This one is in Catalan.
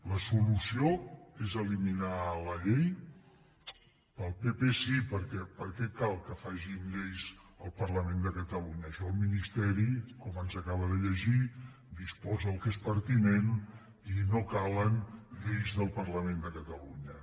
la solució és eliminar la llei pel pp sí perquè per què cal que facin lleis al parlament de catalunya en això el ministeri com ens acaba de llegir disposa el que és pertinent i no calen lleis del parlament de catalunya